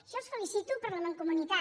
jo els felicito per la mancomunitat